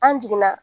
An jiginna